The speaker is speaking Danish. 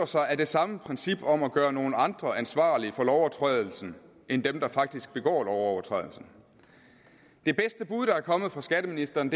sig af det samme princip om at gøre nogle andre ansvarlige for lovovertrædelsen end dem der faktisk begår lovovertrædelsen det bedste bud der er kommet fra skatteministeren